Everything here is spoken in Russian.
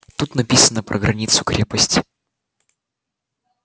тут написано про границу крепости